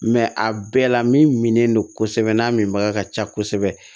a bɛɛ la minnen don kosɛbɛ n'a min baga ka ca kosɛbɛ